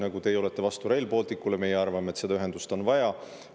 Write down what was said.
Teie näiteks olete vastu Rail Balticule, meie arvame, et seda ühendust on vaja.